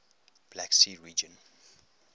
black sea region